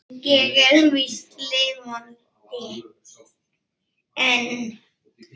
Ég er víst lifandi enn!